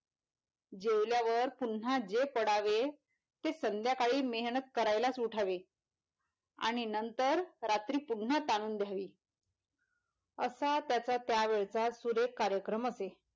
जेवल्यावर पुनः जे पडावेते संध्याकाळीच मेहनत करायलाच उठावे आणि नंतर रात्री पुनः ताणून धरावी असा त्याचा त्या वेळचा सुरेख कार्यक्रम असे.